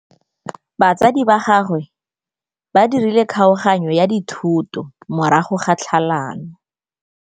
Batsadi ba gagwe ba dirile kgaoganyô ya dithoto morago ga tlhalanô.